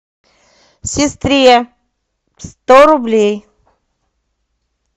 сестре сто рублей